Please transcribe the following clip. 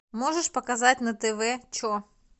можешь показать на тв че